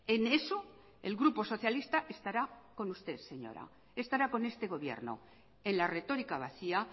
en eso el grupo socialista estará con usted señora estará con este gobierno en la retórica vacía